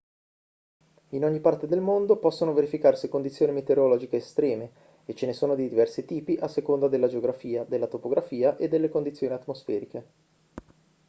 in ogni parte del mondo possono verificarsi condizioni meteorologiche estreme e ce ne sono di diversi tipi a seconda della geografia della topografia e delle condizioni atmosferiche